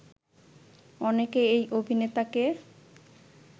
অনেকে এই অভিনেতাকে